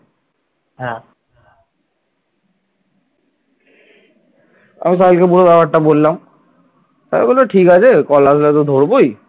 আমি সাহিলকে পুরো ব্যাপারটা বললাম, সাহিল বলল ঠিক আছে call আসলে তো ধরবোই